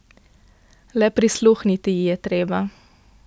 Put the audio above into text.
Le prisluhniti ji je treba.